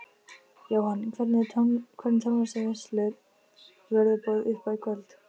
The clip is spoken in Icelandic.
Jóhann: Hvernig tónlistarveislu verður boðið upp á í kvöld?